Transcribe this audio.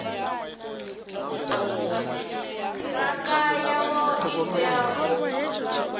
ṱhirakha yavho i tea u